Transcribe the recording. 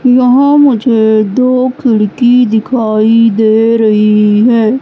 यहां मुझे दो खिड़की दिखाई दे रही हैं।